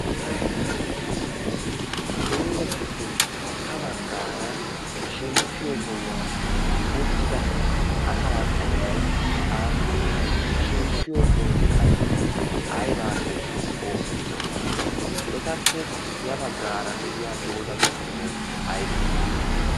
doozatuppe ha baggaara shemppiyo sohuwan uttida asa qooday aappunee ha shemppiyo sooti qassi aybaappe oosettirona etappe ya baggaara de'iya doozatu qommoy aybee